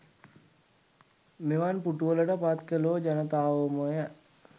මෙවන් පුටුවලට පත් කළෝ ජනතාවෝමය.